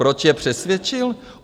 Proč je přesvědčil?